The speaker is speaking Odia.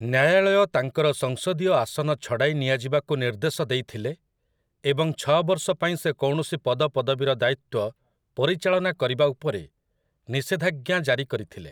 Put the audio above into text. ନ୍ୟାୟାଳୟ ତାଙ୍କର ସଂସଦୀୟ ଆସନ ଛଡ଼ାଇ ନିଆଯିବାକୁ ନିର୍ଦ୍ଦେଶ ଦେଇଥିଲେ ଏବଂ ଛଅ ବର୍ଷ ପାଇଁ ସେ କୌଣସି ପଦପଦବୀର ଦାୟିତ୍ୱ ପରିଚାଳନା କରିବା ଉପରେ ନିଷେଧାଜ୍ଞା ଜାରି କରିଥିଲେ ।